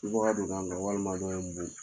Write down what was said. subaga don n kan walima dɔ ye n bon